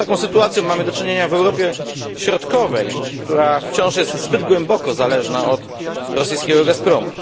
Z taką sytuacją mamy do czynienia w Europie środkowej, która wciąż jest zbyt głęboko zależna od rosyjskiego Gazpromu.